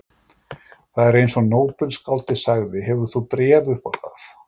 Það er eins og nóbelsskáldið sagði: Hefur þú bréf upp á það?